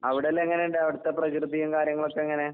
അവടെല്ലാം എങ്ങനുണ്ട് അവടത്തെ പ്രകൃതിയും കാര്യങ്ങളൊക്കെങ്ങനെ?